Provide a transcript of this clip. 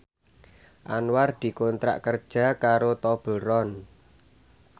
Anwar dikontrak kerja karo Tobleron